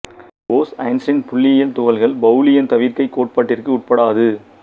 Bose Einstein புள்ளயியலில் துகள்கள் பெளலியின் தவிா்க்கை கோட்பாட்டிற்கு உட்படாது